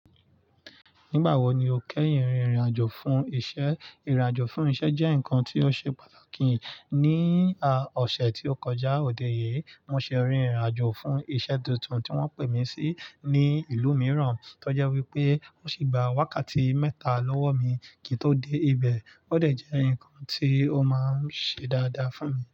Nígbà wo ni o kẹ́yìn rìnrìn àjò fún iṣẹ́. Ìrìn-àjò fún iṣẹ́ jẹ́ nǹkan tí ó ṣe pàtàkì. Ní ọ̀sẹ̀ tí ó kọjá, òde yìí, mo ṣe rìnrìn àjò fún iṣẹ́ tuntun tí wọ́n pè mí sí ní ìlú mìíràn. Tó jẹ́ wípé ó sì gba wákàtí mẹ́ta lọ́wọ́ mi kí n tó dé ibẹ̀. Ó dẹ̀ jẹ́ ǹnkan tí ó máa ń ṣe dáadáa fún mi.